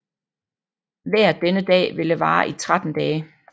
Vejret denne dag ville vare i 13 dage